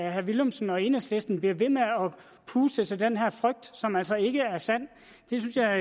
at herre villumsen og enhedslisten bliver ved med at puste til den her frygt som altså ikke er sand synes jeg